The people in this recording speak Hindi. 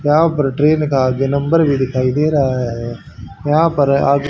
यहाँ पर ट्रेन का आगे नंबर भी दिखाई दे रहा है यहाँ पर आगे--